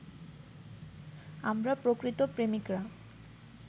আমরা প্রকৃত প্রেমিকরা